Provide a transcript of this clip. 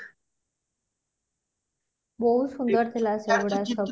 ବୋହୁତ ସୁନ୍ଦର ଥିଲା ସେଗୁଡା ସବୁ